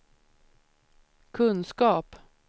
kunskap